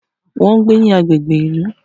Wọ́n ń gbé ní agbègbè ìlú.